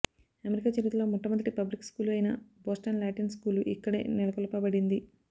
America చరిత్రలో మొట్టమొదటి public school అయిన బోస్టన్ లాటిన్ స్కూలు ఇక్కడే నెలకొల్పవడింది